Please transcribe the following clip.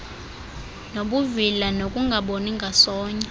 nobuvila nokungaboni ngasonye